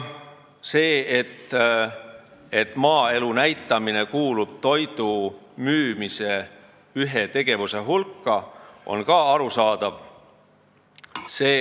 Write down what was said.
See, et maaelu näitamine kuulub toidu müümise tegevuste hulka, on ka arusaadav.